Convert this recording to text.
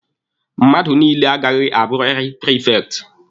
Mmadụ niile agaghị abụrịrị prifekti!